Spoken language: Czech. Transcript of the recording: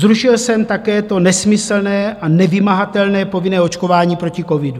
Zrušil jsem také to nesmyslné a nevymahatelné povinné očkování proti covidu.